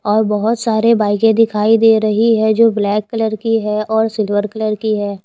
और बहोत सारे बाइके दिखाई दे रही है जो ब्लैक कलर की है और सिल्वर कलर की है।